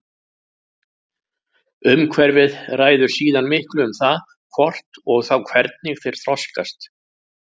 Umhverfið ræður síðan miklu um það hvort og þá hvernig þeir þroskast.